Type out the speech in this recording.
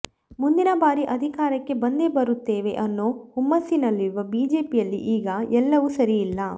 ಮುಂದಿನ ಬಾರಿ ಅಧಿಕಾರಕ್ಕೆ ಬಂದೇ ಬರುತ್ತೇವೆ ಅನ್ನೊ ಹುಮ್ಮಸ್ಸಿನಲ್ಲಿರುವ ಬಿಜೆಪಿಯಲ್ಲಿ ಈಗ ಎಲ್ಲವೂ ಸರಿಯಿಲ್ಲ